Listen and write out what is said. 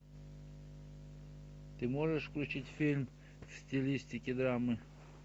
ты можешь включить фильм в стилистике драмы